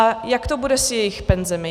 A jak to bude s jejich penzemi?